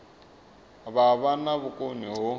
vha vha na vhukoni ho